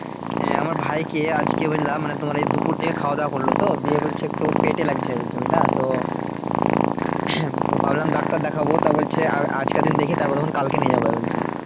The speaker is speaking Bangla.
হ্যাঁ আমার ভাইকে আজকে বুঝলে মানে তোমার ওই দুপুর থেকে খাওয়া দাওয়া করলো তো দিয়ে বলছে একটু পেটে লাগছে বলছে বুঝলে? তো ভাবলাম ডাক্তার দেখাবো তো ও বলছে আর আজকের দিন দেখি তারপর দিয়ে কালকে নিয়ে যাবো বলছে